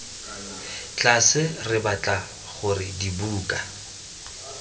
tlase re batla gore dibuka